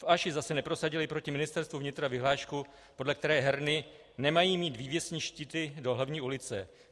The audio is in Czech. V Aši zase neprosadili proti Ministerstvu vnitra vyhlášku, podle které herny nemají mít vývěsní štíty do horní ulice.